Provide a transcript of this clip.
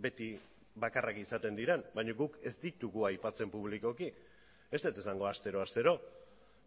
beti bakarrak izaten diren baina guk ez ditugu aipatzen publikoki ez dut esango astero astero